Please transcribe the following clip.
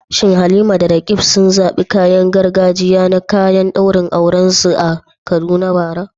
Shin Halima da Roqeeb sun zaɓi kayan gargajiya na kayan daurin aurensu a Kaduna bara?